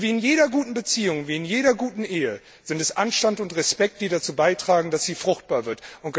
Wie in jeder guten Beziehung, wie in jeder guten Ehe sind es Anstand und Respekt, die dazu beitragen, dass sie fruchtbar wird.